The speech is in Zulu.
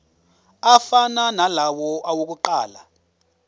afana nalawo awokuqala